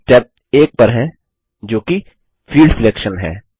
हम स्टेप 1 पर हैं जो कि फील्ड सिलेक्शन है